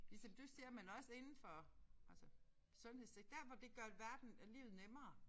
Ligesom du siger men også indenfor altså sundhedssektor dér hvor det gør verden øh livet nemmere